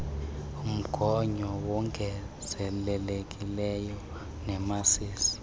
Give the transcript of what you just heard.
mgonyo wongezelelekileyo wemasisi